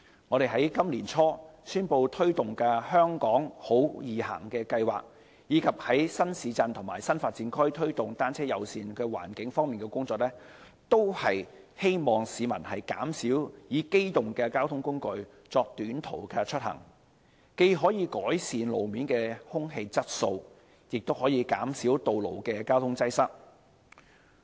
我們在今年年初宣布推動的"香港好•易行"計劃，以及在新市鎮及新發展區推動單車友善環境方面的工作，都是希望市民減少以機動交通工具作短途出行，既可改善路面空氣質素，亦可減少道路交通擠塞。